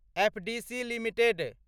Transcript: FDC limited